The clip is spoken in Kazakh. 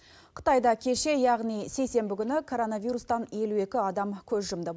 қытайда кеше яғни сейсенбі күні коронавирустан елу екі адам көз жұмды